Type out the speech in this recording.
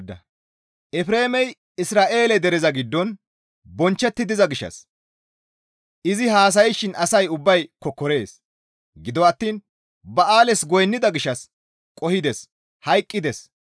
Efreemey Isra7eele dereza giddon bonchchetti diza gishshas izi haasayshin asay ubbay kokkorees. Gido attiin ba7aales goynnida gishshas qohides; hayqqides.